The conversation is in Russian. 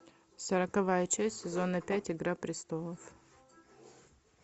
сороковая часть сезона пять игра престолов